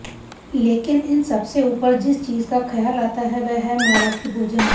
लेकिन इन सबसे ऊपर जिस चीज का ख्याल आता है वह है मराठी भोजन